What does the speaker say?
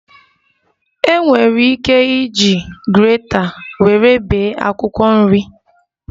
E nwere ike iji greta nwere bee akwụkwọ nri